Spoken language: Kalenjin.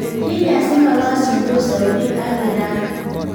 Kilya simokasyindos Saudi ak Iran